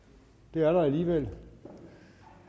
det er der alligevel